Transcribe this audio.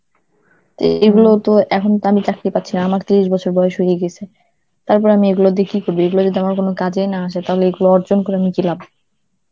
তো এগুলো তো এখন তো আমি চাকরি পারছিনা, আমার তিরিশ বছর বয়স হয়ে গেছে, তারপর আমি এইগুলা দিয়ে কি করব? এইগুলা যদি আমার কোনো কাজেই না আসে, তাহলে এগুলো অর্জন করে আমার কি লাভ?